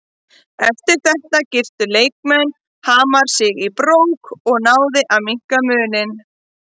Eftir þetta girtu leikmenn Hamars sig í brók og náði að minnka muninn.